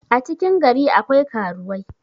a cikin gari akwai karuwai